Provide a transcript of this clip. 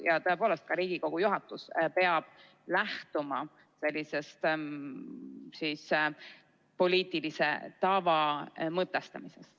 Ja tõepoolest, ka Riigikogu juhatus peab lähtuma poliitilise tava mõtestamisest.